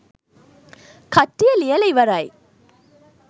කට්ටිය ලියලා ඉවරයි